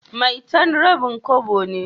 maitan rabin Kobo ne.